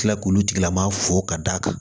Kila k'olu tigilama fo ka da kan